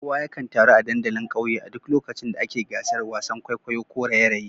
Kowa yakan taru a dandalin kauye a duk lokacin da ake gasar wasan kwaikwayo ko raye-raye.